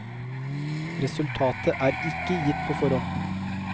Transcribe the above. Resultatet er ikke gitt på forhånd.